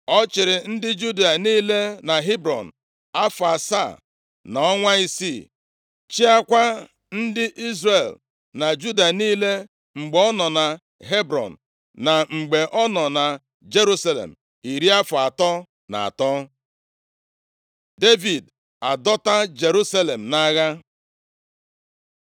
Ọ chịrị ndị Juda niile na Hebrọn afọ asaa na ọnwa isii. Chịakwa ndị Izrel na Juda niile mgbe ọ nọ na Hebrọn na mgbe ọ nọ na Jerusalem iri afọ atọ na atọ, Devid adọta Jerusalem nʼagha